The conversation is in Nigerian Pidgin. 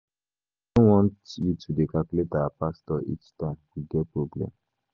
I no want you to dey call our pastor each time we get problem.